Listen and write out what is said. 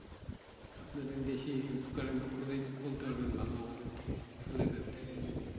আপনারে বেশি Use করেন আপনারাই বলতে পারবেন ভাল আমাদের থেকে